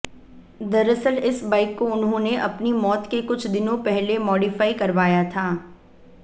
दरअसल इस बाइक को उन्होंने अपनी मौत के कुछ दिनों पहले मॉडिफाई करवाया था